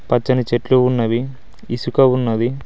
పచ్చని చెట్లు ఉన్నవి ఇసుక ఉన్నది.